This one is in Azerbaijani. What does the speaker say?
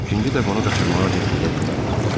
İkinci dəfə onu qaçırmağa cəhd eləyə bilmərik.